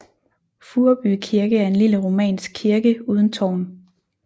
Furreby Kirke er en lille romansk kirke uden tårn